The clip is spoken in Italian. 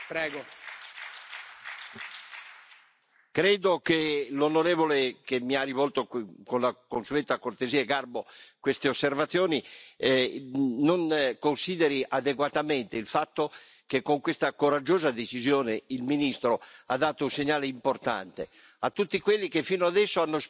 Credo che l'onorevole che mi ha rivolto, con la consueta cortesia e garbo, queste osservazioni non consideri adeguatamente il fatto che, con questa coraggiosa decisione, il ministro ha dato un segnale importante a tutti quelli che fino adesso hanno speculato senza interventi e senza controlli veri